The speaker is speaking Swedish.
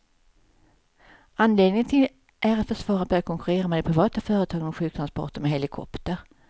Anledningen är att försvaret börjat konkurrera med de privata företagen om sjuktransporter med helikopter.